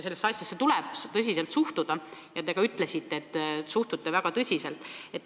Sellesse tuleb tõsiselt suhtuda ja te ka ütlesite, et suhtute väga tõsiselt.